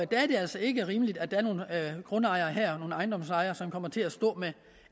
det altså ikke rimeligt at der er nogle grundejere og ejendomsejere her som kommer til at stå med